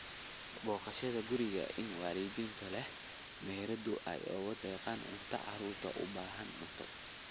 Booqashada guriga, in waalidiinta leh meherado ay ugu deeqaan cunto carruurta u baahan cunto.